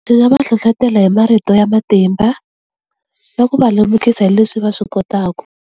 Ndzi nga va hlohlotela hi marito ya matimba na ku va lemukisa hi leswi va swi kotaka.